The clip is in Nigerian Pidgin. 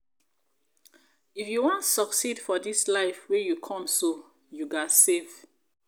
if you wan succeed for dis life wey you come so you ghas save